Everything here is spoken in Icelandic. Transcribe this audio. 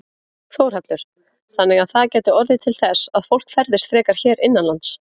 Þórhallur: Þannig að það gæti orðið til þess að fólk ferðist frekar hér innanlands?